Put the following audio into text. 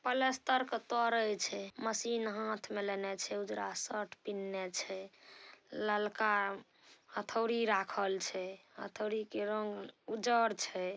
पलास्तर के तोड़े छै मशीन हाथ में लेनाय छै उजरा शर्ट पीनन्हे छै ललका हथोड़ी राखल छै हथोड़ी के रंग उजड़ छै।